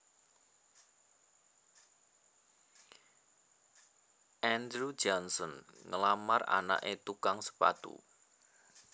Andrew Johnson nglamar anaké tukang sepatu